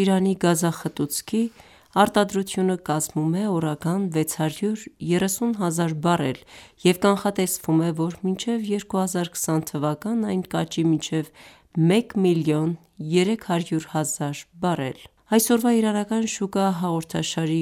Իրանի գազախտուցքի (կոնդենսատ) արտադրությունը կազմում է օրական 630 հազար բարել և կանխատեսվում է, որ մինչև 2020թ. այն կաճի մինչև 1 մլն 300 հազար բարել: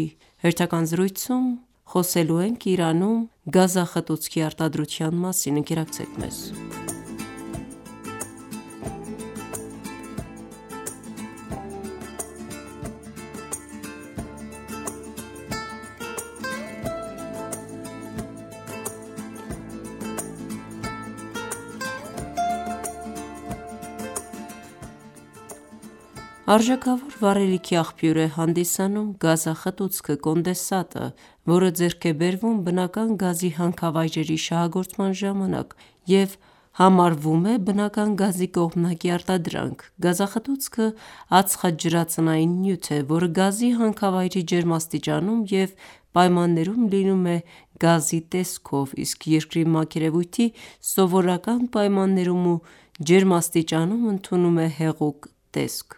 Արժեքավոր վառելիքի աղբյուր է հանդիսանում գազախտուցքը, որը ձեռք է բերվում բնական գազի հանքավայրերի շահագործման ժամանակ և համարվում է բնական գազի կողմնակի արտադրանք:Գազախտուցքը ածխաջրածնային նյութ է, որը գազի հանքավայրի ջերմաստիճանում և պայմաններում լինում է գազի տեսքով, իսկ երկրի մակերևույթի սովորական պայմաններում ու ջերմաստիճանում ընդունում է հեղուկ տեսք: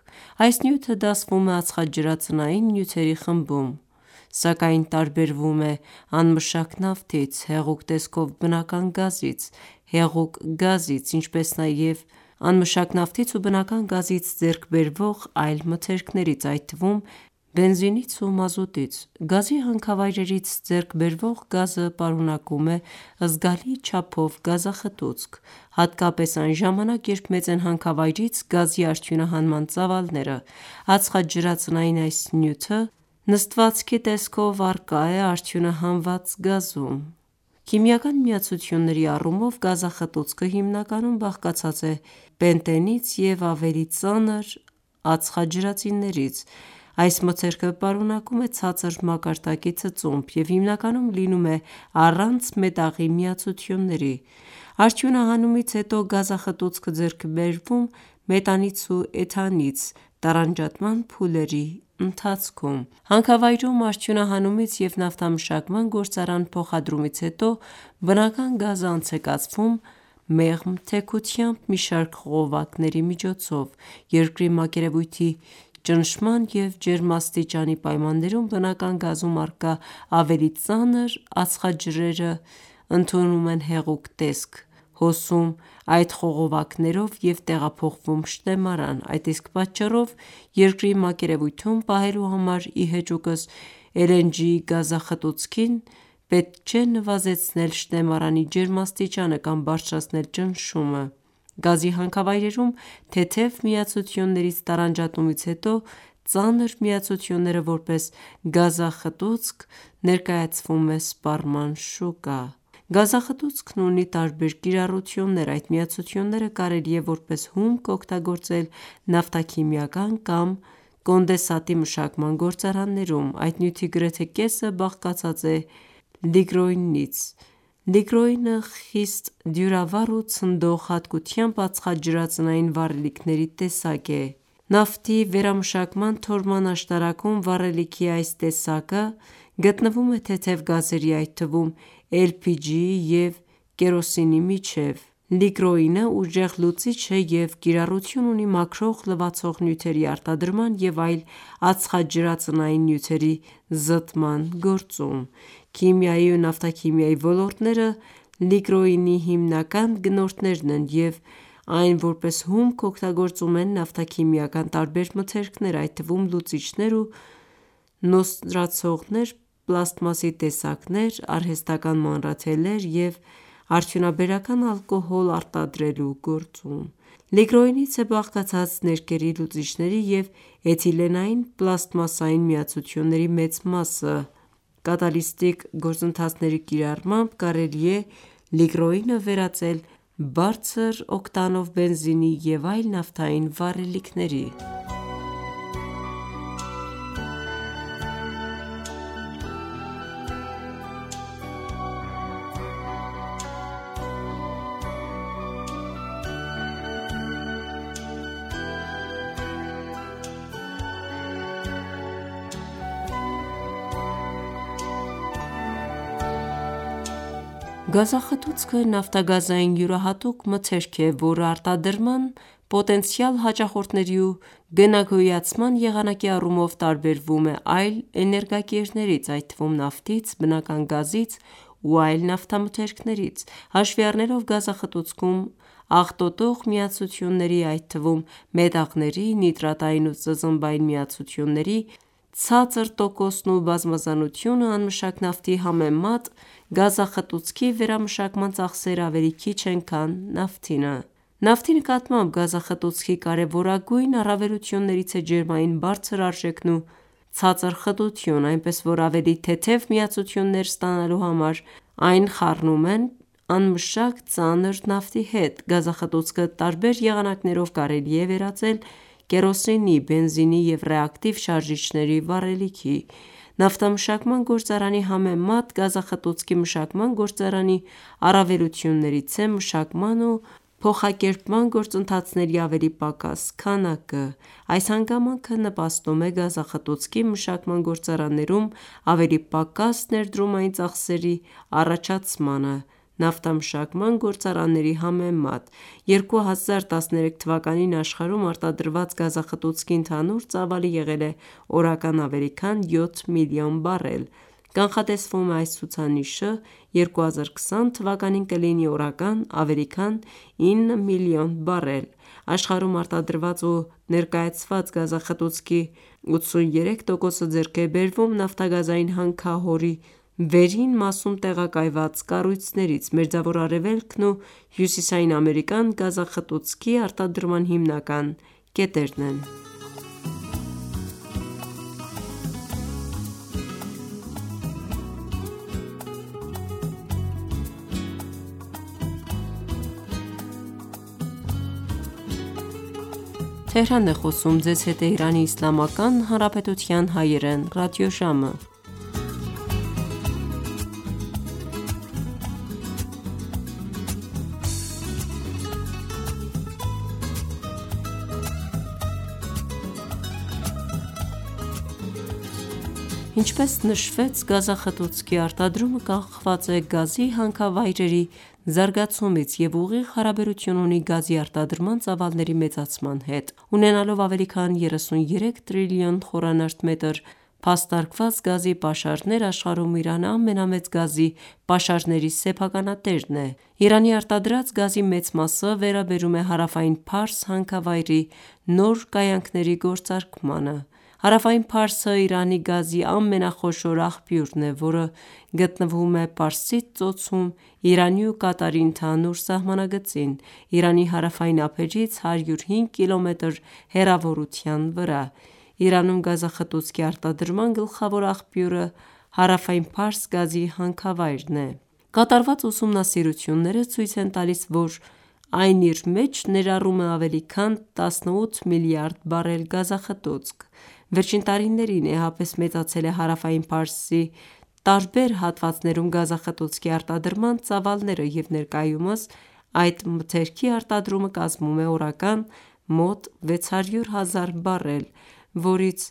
Այս նյութը դասվում է ածխաջրածնային նյութերի խմբում, սակայն տարբերվում է անմշակ նավթից (crude), հեղուկ տեսքով բնական գազից (LNG), հեղուկ գազից (LPG), ինչպես նաև անմշակ նավթից ու բնական գազից ձեռք բերվող այլ մթերքներից, այդ թվում բենզինից ու մազուտից: Գազի հանքավայրերից ձեռք բերվող գազը պարունակում է զգալի չափով գազախտուցք, հատկապես այն ժամանակ, երբ մեծ են հանքավայրից գազի արդյունահանման ծավալները: Ածխաջրածնային այս նյութը նստվածքի տեսքով առկա է արդյունահանված գազում: Քիմիական միացությունների առումով, գազախտուցքը հիմնականում բաղկացած է Պենտենից եւ ավելի ծանր ածխաջրածնիններից: Այս մթերքը պարունակում է ցածր մակարդակի ծծումբ և հիմնականում լինում է առանց մետաղի միացությունների: Արդյունահանումից հետո, գազախտուցքը ձեռք է բերվում մետանից ու էթանից (բնական գազի ամենաթեթև ու հիմնական միացություններից մեկը ) տարանջատման փուլերի ընթացքում: Հանքավայրում արդյունահանումից և նավթամշակման գործարան փոխադրումից հետո, բնական գազը անց է կացվում մեղմ թեքությամբ մի շարք խողովակների միջով: Երկրի մակերևույթի ճնշման ու ջերմաստիճանի պայմաններում բնական գազում առկա ավելի ծանր ածխաջրերը ընդունում են հեղուկ տեսք, հոսում այդ խողովակներով և տեղափոխվում շտեմարան: Այդ իսկ պատճառով երկրի մակերևույթում պահելու համար, ի հեճուկս LNG-ի գազախտուցքին պետք չէ նվազեցնել շտեմարանի ջերմաստիճանը կամ բարձրացնել ճնշումը: Գազի հանքավայրերում թեթև միացություններից տարանջատումից հետո ծանր միացությունները որպես գազախտուցք (plant Condensate) ներկայացվում է սպառման շուկա: Գազախտուցքն ունի տարբեր կիրառություններ: Այդ միացությունները կարելի է որպես հումք օգտագոործել նավթաքիմիական կամ կոնդենսատի մշակման գործարաններում: Այդ նյութի գրեթե կեսը բաղկացած է լիգրոինից: Լիգրոինը խիստ դյուրավառ ու ցնդող հատկությամբ ածխաջրածնային վառելիքների տեսակ է: Նավթի վերամշակման թորման աշտարակում վառելիքի այս տեսակը գտնվում է թեթև գազերի, այդ թվում LPG-ի և կերոսինի միջև: Լիգրոինը ուժեղ լուծիչ է և կիրառություն ունի մաքրող-լվացող նյութերի արտադրման և այլ ածխաջրածնային նյութերի զտման գործում: Քիմիայի ու նավթաքիմիայի ոլորտները լիգրոինի հիմնական գնորդներն են և այն որպես հումք օգտագործում են նավթաքիմիական տարբեր մթերքներ, այդ թվում լուծիչներ ու նոսրացնողներ, պլաստմասի տեսակներ, արհեստական մանրաթելեր և արդյունաբերական ալկոհոլ արտադրելու գործում: Լիգրոինից է բաղկացած ներկերի լուծիչների և Էթիլենային պլաստմասային միացությունների մեծ մասը: Կատալիստիկ գործընթացների կիրառմամբ կարելի է լիգրոինը վերածել բարձր օկտանով բենզինի և այլ նավթային վառելիքների: Գազախտուցքը նավթագազային յուրահատուկ մթերք է, որը արտադրման, պոտենցիալ հաճախորդների ու գնագոյացման եղանակի առումով տարբերվում է այլ էներգակիրներից, այդ թվում նավթից, բնական գազից ու այլ նավթամթերքներից: Հաշվի առնելով գազախտուցքում աղտոտող միացությունների, այդ թվում մետաղների, նիտրատային ու ծծմբային միացությունների ցածր տոկոսն ու բազմազանությունը չմշակված նավթի համեմատ, գազախտուցքի վերամշակման ծախսերը ավելի քիչ են քան նավթինը: Նավթի նկատմամբ գազախտուցքի կարևորագույն առավելություններից է ջերմային բարձր արժեքն ու ցածր խտությունը, այնպես որ ավելի թեթև միացություններ ստանալու համար այն խառնում են չմշակված ծանր նավթի հետ: Գազախտուցքը տարբեր եղանակներով կարելի է վերածել կերոսինի, բենզինի և ռեակտիվ շարժիչների վառելիքի: Նավթամշակման գործարանի համեմատ գազախտուցքի մշակման գործարանի առավելություններից է մշակման ու փոխակերպման գործընթացների ավելի պակաս քանակը: Այս հանգամանքը նպաստում է գազախտուցքի մշակման գործարաններում ավելի պակաս ներդումային ծախսերի առաջացմանը նավթամշակման գործարանների համեմատ: 2013թ. աշխարհում արտադրված գազախտուցքի ընդհանուր ծավալը եղել է օրական ավելի քան 7 մլն բարել: Կանխատեսվում է այս ցուցանիշը 2020թ. կլինի օրական ավելի քան 9 մլն բարել: Աշխարհում արտադրված ու ներկայացված գազախտուցքի 83 տոկոսը ձեռք է բերվում նավթագազային հանքահորի վերին մասում տեղակայված կառույցներից: Մերձավոր Արևելքն ու Հյուսիսային Ամերիկան գազախտուցքի արտադրման հիմնական կետերն են: Ինչպես նշվեց, գազախտուցքի արտադրումը կախված է գազի հանքավայրերի զարգացումից և ուղիղ հարաբերություն ունի գազի արտադրման ծավալների մեծացման հետ: Ունենալով ավելի քան 33 տրիլոն Խմ փաստարկված գազի պաշարներ, աշխարհում Իրանը ամենամեծ գազի պաշարների սեփականատերն է: Իրանի արտադրած գազի մեծ մասը վերաբերում է հարավային Փարս հանքավայրի նոր կայանքների գործարկմանը: Հարավային Փարսը Իրանի գազի ամենախոշոր աղբյուրն է, որը գտնվում է Պարսից Ծոցում Իրանի ու Կատարի ընդհանուր սահմանագծին՝ Իրանի հարավային ափերից 105 կմ հեռավորության վրա: Իրանում գազախտուցքի արտադրման գլխավոր աղբյուրը «հարավային Փարս» գազի հանքավայրն է: Կատարված ուսումնասիրությունները ցույց են տալիս, որ այն իր մեջ ներառում է ավելի քան 18 մլրդ բարել գազախտուցք: Վերջին տարիներին էապես մեծացել է հարավային Փարսի տարբեր հատվածներում գազախտուցքի արտադրման ծավալները և ներկայումս այդ մթերքի արտադրումը կազմում է օրական մոտ 600 հազար բարել, որից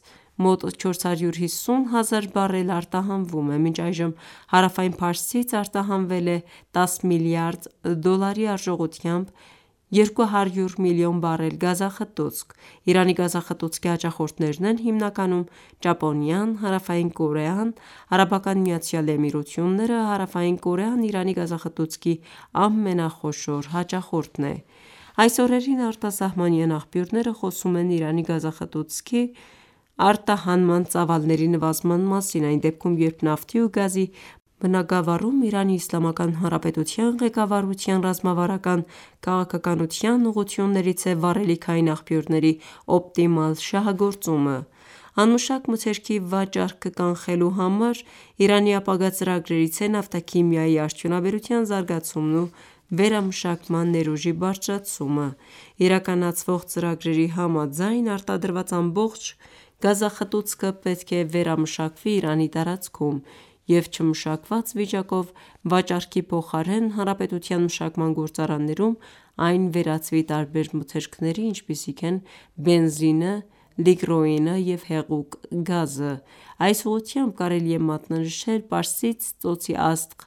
մոտ 450 հազար բարելը արտահանվում է: Մինչ այժմ Հարավային Փարսից արտահանվել է 10 մլրդ դոլարի արժողությամբ 200 մլն բարել գազախտուցք: Իրանի գազախտուցքի հաճախորդներն են հիմնականում Ճապոնիան, Հարավային Կորեան, ԱՄԷ-ը: Հարավային Կորեան Իրանի գազախտուցքի ամենախոշոր հաճախորդն է: Այս օրերին արտասահմանյան աղբյուրները խոսում են Իրանի գազախտուցքի արտահանման ծավալների նվազման մասին, այն դեպքում, երբ նավթի ու գազի բնագավառում ԻԻՀ ղեկավարության ռազմավարական քաղաքականության ուղղություններից է վառելիքային աղբյուրների օպտիմալ շահագործումը: Չմշակված մթերքի վաճառքը կանխելու համար Իրանի ապագա ծրագրերից է նավթաքիմիայի արդյունաբերության զարգացումն ու վերամշակման ներուժի բարձրացումը: Իրականացվող ծրագրերի համաձայն, արտադրված ամբողջ գազախտուցքը պետք է վերամշակվի Իրանի տարածքում և չմշակված վիճակով վաճառքի փոխարեն Հանարապետության մշակման գործարաններում այն վերածվի տարբեր մթերքների, ինչպիսիք են բենզինը, լիգրոինը և հեղուկ գազը: Այս ուղղությամբ կարելի է մատնանշել «Պարսից Ծոցի Աստղ»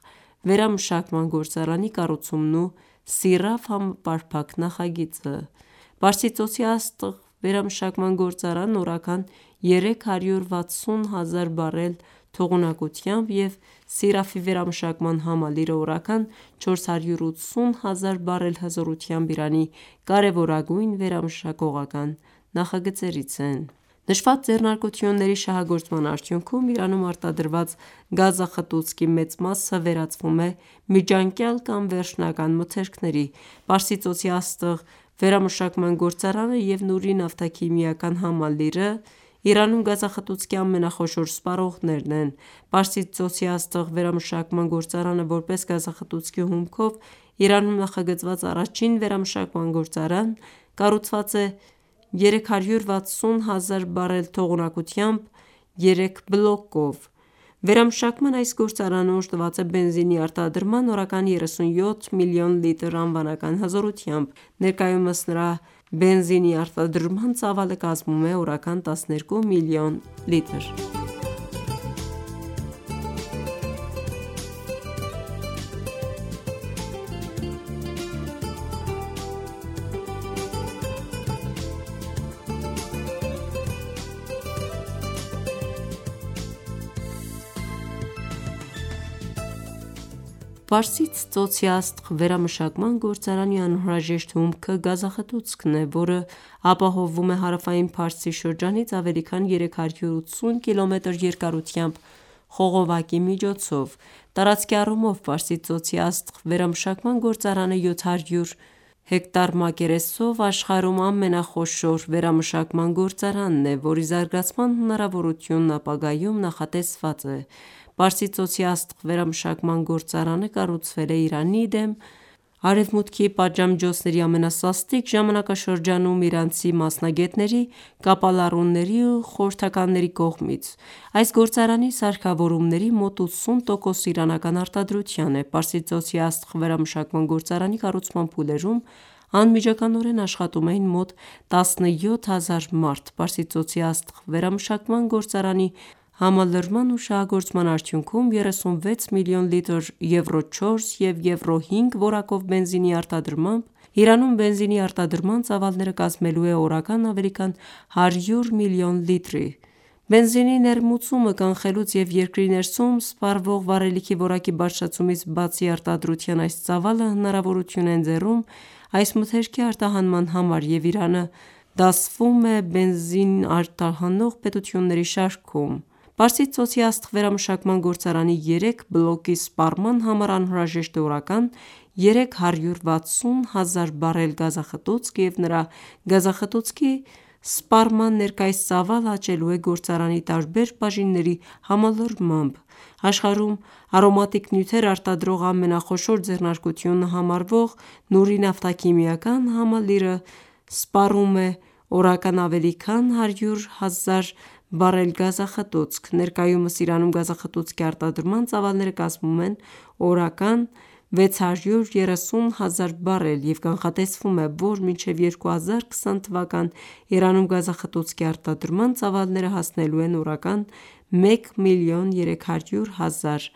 վերամշակման գործարանի կառուցումն ու Սիրաֆ համապարփակ նախագիծը: «Պարսից Ծոցի Աստղ» վերամշակման գործարանը օրական 360 հազար բարել թողունակությամբ և Սիրաֆի վերամշակման համալիրը օրական 480 հազար բարել հզորությամբ Իրանի կարևորագույն վերամշակողական նախագծերից են: Նշված ձեռնարկությունների շահագործման արդյունքում Իրանում արտադրված գազախտուցքի մեծ մասը վերածվում է միջանկյալ կամ վերջնական մթերքների: «Պարսից Ծոցի Աստղ» վերամշակման գործարանը և Նուրի նավթաքիմիական համալիրը (Բորզույեհ) Իրանում գազախտուցքի ամենախոշոր սպառողներն են: «Պարսից Ծոցի Աստղ» վերամշակման գործարանը, որպես գազախտուցքի հումքով Իրանում նախագծված առաջին վերամշակման գործարան, կառուցված է 360 հազար բարել թողունակությամբ երեք բլոկով: Վերամշակման այս գործարանը օժտված է բենզինի արտադրման՝ օրական 37 մլն լիտր անվանական հզորությամբ: Ներկայումս նրա բենզինի արտադրման ծավալը կազմում է օրական 12 մլն լիտր: «Պարսից Ծոցի Աստղ» վերամշակման գործարանի անհրաժեշտ հումքը գազախտուցքն է, որը ապահովվում է հարավային Փարսի շրջանից ավելի քան 380 Կմ երկարությամբ խողովակի միջոցով: Տարածքի առումով «Պարսից Ծոցի Աստղ» վերամշակման գործարանը 700 հա մակերեսով աշխարհում ամենախոշոր վերամշակման գործարանն է, որի զարգացման հնարավորությունը ապագայում նախատեսված է: «Պարսից Ծոցի Աստղ» վերամշակման գործարանը կառուցվել է Իրանի դեմ Արևմուտքի պատժամիջոցների ամենասաստիկ ժամանակաշրջանում իրանցի մասնագետների, կապալառուների ու խորհրդականների կողմից: Այս գործարանի սարքավորումների մոտ 80 տոկոսը իրանական արտադրության է: «Պարսից Ծոցի Աստղ» վերամշակման գործարանի կառուցման փուլերում անմիջականորեն աշխատում էին մոտ 17 հազար մարդ: «Պարսից Ծոցի Աստղ» վերամշակման գործարանի համալրման ու շահագործման արդյունքում 36 մլն լիտր եվրո-4 և եվրո-5 որակով բենզինի արտադրմամբ Իրանում բենզինի արտադրման ծավալները կազմելու է օրական ավելի քան 100 մլն լիտր: Բենզինի ներմուծումը կանխելուց և երկրի ներսում սպառվող վառելիքի որակի բարձրացումից բացի, արտադրության այս ծավալը հնարավորություն է ընձեռում այս մթերքի արտահանման համար և Իրանը դասում է բենզին արտահանող պետությունների շարքում: «Պարսից Ծոցի Աստղ» վերամշակման գործարանի երեք բլոկի սպառման համար անհրաժեշտ է օրական 360 հազար բարել գազախտուցք և նրա՝ գազախտուցքի սպառման ներկայիս ծավալը աճելու է գործարանի տարբեր բաժինների համալրմամբ: Աշխարհում արոմատիկ նյութեր արտադրող ամենախոշոր ձեռնարկությունն համարվող «Նուրի» նավթաքիմիական համալիրը (Բորզույեհ) սպառում է օրական ավելի քան 100 հազար բարել գազախտուցք: Ներկայումս Իրանում գազախտուցքի արտադրման ծավալները կազմում են օրական 630 հազար բարել և կանխատեսվում է, որ մինչև 2020թ. Իրանում գազախտուցքի արտադրման ծավալները հասնելու են օրական 1 մլն 300 հազար